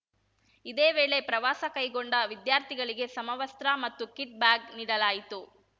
ಇದೇ ವೇಳೆ ಪ್ರವಾಸ ಕೈಗೊಂಡ ವಿದ್ಯಾರ್ಥಿಗಳಿಗೆ ಸಮವಸ್ತ್ರ ಮತ್ತು ಕಿಟ್‌ ಬ್ಯಾಗ್‌ ನೀಡಲಾಯಿತು